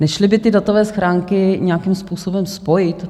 Nešly by ty datové schránky nějakým způsobem spojit?